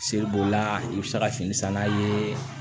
Seli b'o la i bɛ se ka fini sanna ye